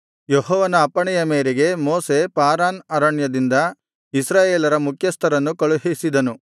ಯೆಹೋವನ ಅಪ್ಪಣೆಯ ಮೇರೆಗೆ ಮೋಶೆ ಪಾರಾನ್ ಅರಣ್ಯದಿಂದ ಇಸ್ರಾಯೇಲರ ಮುಖ್ಯಸ್ಥರನ್ನು ಕಳುಹಿಸಿದನು